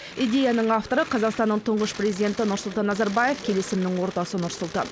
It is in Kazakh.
идеяның авторы қазақстанның тұңғыш президенті нұрсұлтан назарбаев келісімнің ордасы нұр сұлтан